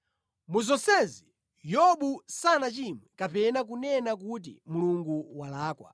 Mu zonsezi, Yobu sanachimwe kapena kunena kuti, “Mulungu walakwa.”